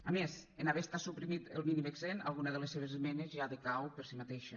a més en haver estat suprimit el mínim exempt alguna de les seves esmenes ja decau per si mateixa